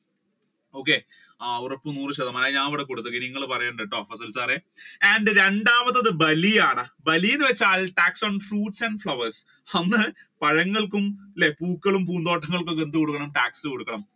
okay ഉറപ്പ് നൂർ ശതമാനമായി ഞാൻ ഇവിടെ നിങ്ങൾ പറയണ്ടാട്ടോ fasal sir രണ്ടാമത്തത് ബലിയാണ് ബലി എന്ന് വെച്ചാൽ tax on fruits and flowers പഴങ്ങൾക്കും പൂന്തോട്ടങ്ങൾക്കും എന്ത് കൊടുക്കണം tax കൊടുക്കണം.